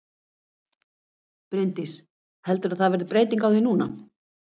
Bryndís: Heldurðu að það verði breyting á því núna?